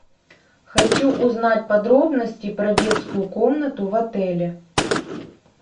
хочу узнать подробности про детскую комнату в отеле